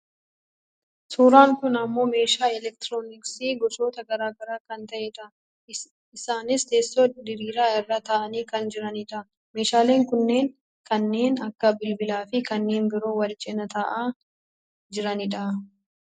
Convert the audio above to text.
Suuraan kun ammoo meeshaa elektirooniksi gosoota gara garaa kan ta'e dha. Isaanis teessoo diriiraa irra taa'anii kan jirani dha. Meeshaaleen kunis kanneen akka bilbilaa fi kanneen biroo wal cinaa taa'aa jiranidha.